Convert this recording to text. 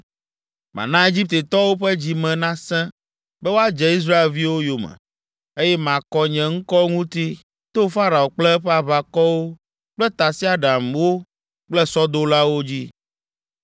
Mana Egiptetɔwo ƒe dzi me nasẽ be woadze Israelviwo yome, eye makɔ nye ŋkɔ ŋuti to Farao kple eƒe aʋakɔwo kple tasiaɖamwo kple sɔdolawo dzi.